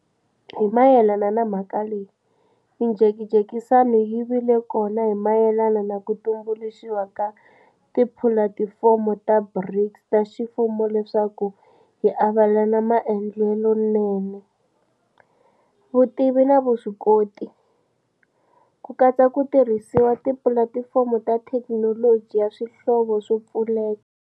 Hi mayelana na mhaka leyi, mijekajekisano yi vile kona hi mayelana na ku tumbuluxiwa ka tipulatifomo ta BRICS ta ximfumo leswaku hi avelana maendlelonene, vutivi na vuswikoti, ku katsa ku tirhisiwa ka tipulatifomo ta thekinoloji ya swihlovo swo pfuleka.